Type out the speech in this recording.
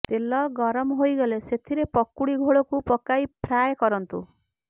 ତେଲ ଗରମ ହୋଇଗଲେ ସେଥିରେ ପକୁଡି ଘୋଳକୁ ପକାଇ ଫ୍ରାଏ କରନ୍ତୁ